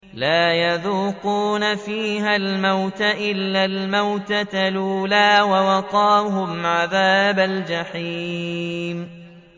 لَا يَذُوقُونَ فِيهَا الْمَوْتَ إِلَّا الْمَوْتَةَ الْأُولَىٰ ۖ وَوَقَاهُمْ عَذَابَ الْجَحِيمِ